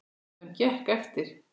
Sem gekk eftir.